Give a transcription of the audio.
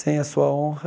Sem a sua honra,